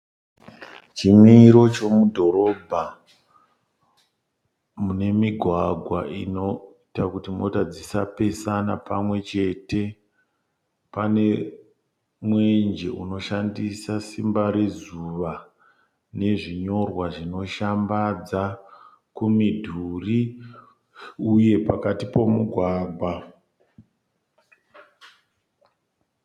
Chimiro chemudhorobha mune migwagwa inoita kuti mota dzisapesana pamwe chete. pane mwenje unoshandisa simba rezuva nezvinyorwa zvinoshambadzwa kumidhuri uye pakati pemi gwagwa.